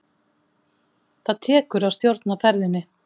Það tekur að stjórna ferðinni.